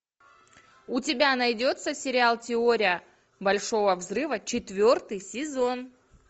у тебя найдется сериал теория большого взрыва четвертый сезон